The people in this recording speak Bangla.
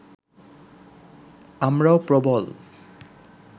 আমরাও প্রবল